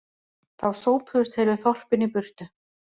Þá sópuðust heilu þorpin í burtu